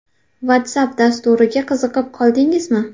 WhatsApp dasturiga qiziqib qoldingizmi?